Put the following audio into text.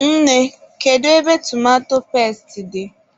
Nne, kedu ebe tomato pesti dị?